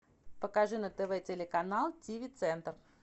покажи на тв телеканал тиви центр